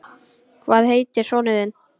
Hvað heitir sonur þinn?